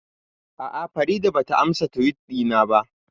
A'a, Farida ba ta ansa Tiwit ɗina ba